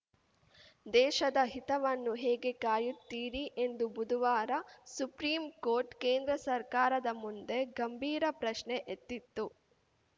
ದೇಶದ ಹಿತವನ್ನು ಹೇಗೆ ಕಾಯುತ್ತೀರಿ ಎಂದು ಬುಧುವಾರ ಸುಪ್ರೀಂ ಕೋರ್ಟ್‌ ಕೇಂದ್ರ ಸರ್ಕಾರದ ಮುಂದೆ ಗಂಭೀರ ಪ್ರಶ್ನೆ ಎತ್ತಿತ್ತು